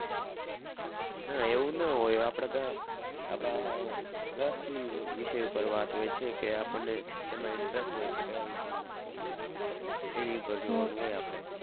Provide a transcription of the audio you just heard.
ના ના એવું ના હોય આપણા ત્યાં આપણા રસ ની વિષય ઉપર વાત હોય છે કે આપણને શેમાં interest હોય છે કયા વિષયમાં એની ઉપર જોવાનું હોય આપણે.